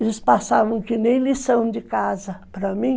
Eles passavam que nem lição de casa para mim.